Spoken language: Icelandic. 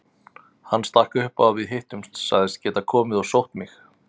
Hann stakk upp á að við hittumst, sagðist geta komið og sótt mig.